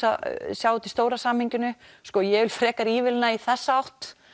sjá þetta í stóra samhenginu ég vil frekar ívilna í þessa átt